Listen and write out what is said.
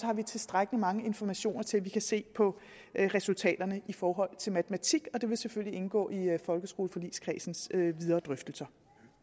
har vi tilstrækkelig mange informationer til at vi kan se på resultaterne i forhold til matematik og det vil selvfølgelig indgå i folkeskoleforligskredsens videre drøftelser